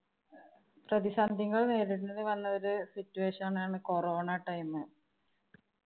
പ്രതിസന്ധികള്‍ നേരിടേണ്ടി വന്നൊരു situation ആണ് corona time.